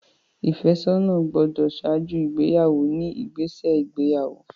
Ìfẹ́sọ́nà gbọ́dọ̀ ṣáájú ìgbéyàwó ní ìgbésẹ̀ ìgbéyàwó.